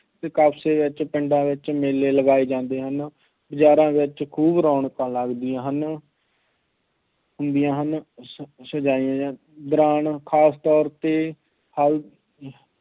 ਅਤੇ ਕਸਬੇ ਵਿੱਚ, ਪਿੰਡਾਂ ਵਿੱਚ ਮੇਲੇ ਲਗਾਏ ਜਾਂਦੇ ਹਨ, ਬਜ਼ਾਰਾਂ ਵਿੱਚ ਖੂਬ ਰੌਣਕਾਂ ਲੱਗਦੀਆਂ ਹਨ, ਹੁੰਦੀਆਂ ਹਨ, ਸ~ ਸਜਾਈਆਂ ਜਾਂਦੀਆਂ, ਦੌਰਾਨ ਖਾਸ ਤੌਰ 'ਤੇ